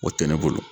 O tɛ ne bolo